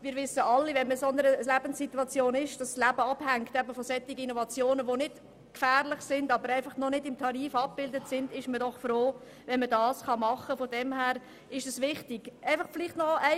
Wir wissen es alle: Wenn man sich in einer Situation befindet, wo das Leben von solchen Innovationen abhängt, die im Tarifsystem noch nicht abgebildet sind, ist man froh, wenn man solche Eingriffe vornehmen kann.